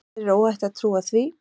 Þér er óhætt að trúa því.